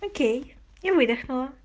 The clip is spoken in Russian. окей и выдухнула